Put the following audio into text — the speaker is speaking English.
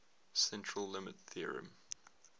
central limit theorem